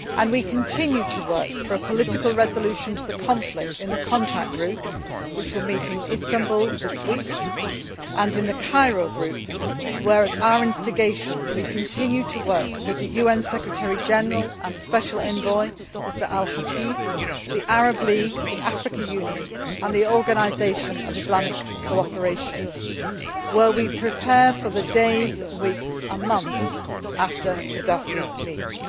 We continue to work for a political resolution to the conflict, in the Contact Group which will meet in Istanbul this week and in the Cairo Group, where at our instigation we continue to work with the UN Secretary General and the Special Envoy, Mr Al Khatib, the Arab League, the African Union and the Organisation of the Islamic Cooperation, where we prepare for the days, weeks and months after Gaddafi leaves.